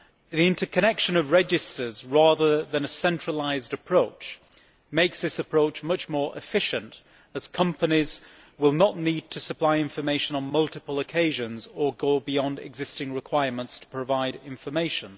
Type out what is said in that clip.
The interconnection of registers, rather than a centralised approach, makes this much more efficient as companies will not need to supply information on multiple occasions or go beyond existing requirements to provide information.